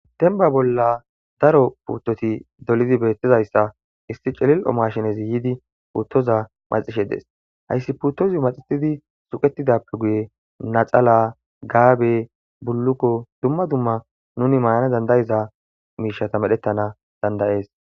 Denba bolla daro puuttoti dolidi beettizayssa issi celil'o mashinezi yiidi puuttoza maxishe dees hayssi puttozu maxitidi suqetidappe guye naxala gaabe bullukko dumma dumma nuni mayana dandayiza miishata medhettana dandayees.